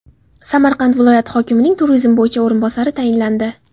Samarqand viloyati hokimining turizm bo‘yicha o‘rinbosari tayinlandi.